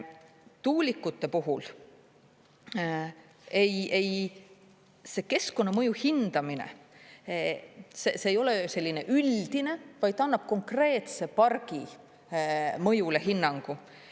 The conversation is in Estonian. Tuulikute puhu see keskkonnamõju hindamine ei ole selline üldine, vaid annab konkreetse pargi mõjule hinnangu.